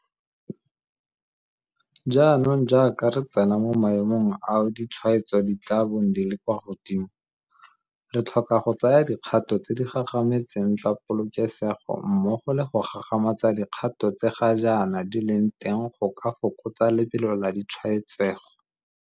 Jaanong jaaka re tsena mo maemong ao ditshwaetso di tla bong di le kwa godimo, re tlhoka go tsaya dikgato tse di gagametseng tsa polokesego mmogo le go gagamatsa dikgato tse ga jaana di leng teng go ka fokotsa lebelo la ditshwaetsego.